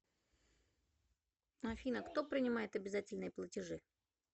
афина кто принимает обязательные платежи